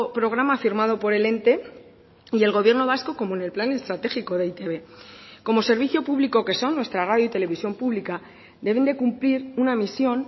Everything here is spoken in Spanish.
programa firmado por el ente y el gobierno vasco como en el plan estratégico de e i te be como servicio público que son nuestra radio y televisión pública deben de cumplir una misión